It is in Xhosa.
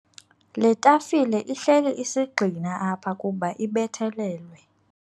Le tafile ihleli isigxina apha kuba ibethelelwe.